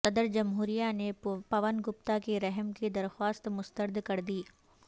صدرجمہوریہ نے پون گپتا کی رحم کی درخواست مسترد کردی